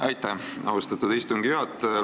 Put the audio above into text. Aitäh, austatud istungi juhataja!